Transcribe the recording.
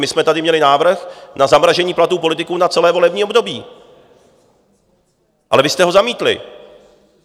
My jsme tady měli návrh na zamražení platů politiků na celé volební období, ale vy jste ho zamítli.